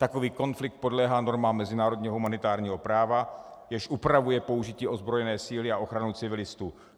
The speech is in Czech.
Takový konflikt podléhá normám mezinárodního humanitárního práva, jež upravuje použití ozbrojené síly a ochranu civilistů.